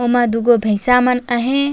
उमा दु गो भैसा मन आहे।